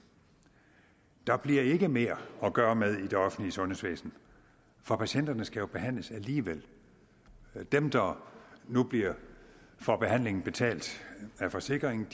der bliver ikke mere at gøre med i det offentlige sundhedsvæsen for patienterne skal jo behandles alligevel dem der nu får behandlingen betalt af forsikringen